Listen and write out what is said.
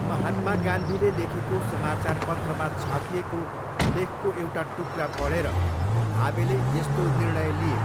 महात्मा गान्धीले लेखेको समाचारपत्रमा छापिएको लेखको एउटा टुक्रा पढेर भावेले यस्तो निर्णय लिए।